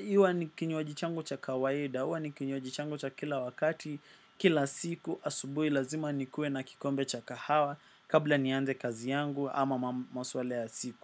iwa ni kinywaji changu cha kawaida. Uwa ni kinywaji changu cha kila wakati. Kila siku asubui lazima nikue na kikombe cha kahawa. Kabla ni anze kazi yangu ama maswalea siku.